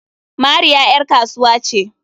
Mariya ƴar kasuwa ce.